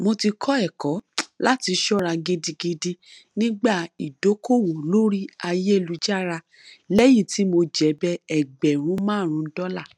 mo ti kọ ẹkọ láti ṣọra gidigidi nígbà ìdókòòwò lórí ayélújára lẹyìn tí mo jèbẹ ẹgbẹrún márùnún dọlà